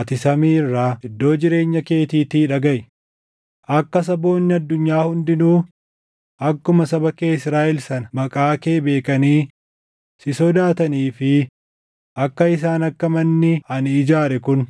ati samii irraa, iddoo jireenya keetiitii dhagaʼi. Akka saboonni addunyaa hundinuu akkuma saba kee Israaʼel sana maqaa kee beekanii si sodaatanii fi akka isaan akka manni ani ijaare kun